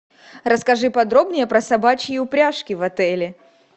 расскажи подробнее про собачьи упряжки в отеле